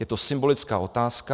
Je to symbolická otázka.